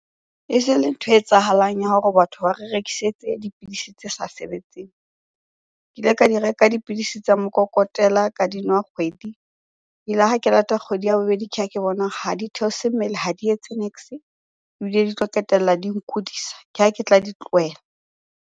E jele nthwe etsahalang ya hore batho ba re rekisetse dipidisi tse sa sebetseng. Ke ile ka di reka dipidisi tsa mokokotela, ka di nwa kgwedi. E la re ha ke lata kgwedi ya bobedi, ke ha ke bona ha di theose mmele, ha di etse niks-e ebile di tlo qetella di nkudisa. Ke ha ke tla di tlohela.